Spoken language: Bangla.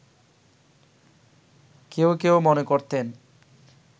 কেউ কেউ মনে করতেন